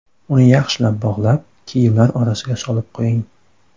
Uni yaxshilab bog‘lab, kiyimlar orasiga solib qo‘ying.